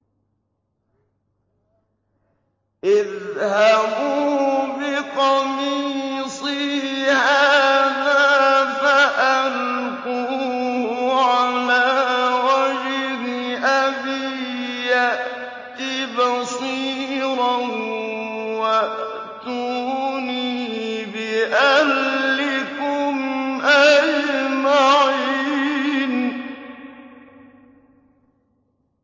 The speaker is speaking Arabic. اذْهَبُوا بِقَمِيصِي هَٰذَا فَأَلْقُوهُ عَلَىٰ وَجْهِ أَبِي يَأْتِ بَصِيرًا وَأْتُونِي بِأَهْلِكُمْ أَجْمَعِينَ